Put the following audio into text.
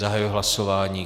Zahajuji hlasování.